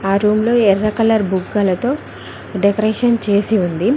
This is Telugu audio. ఆ రూమ్ లో ఎర్ర కలర్ బుగ్గలతో డెకరేషన్ చేసి ఉంది.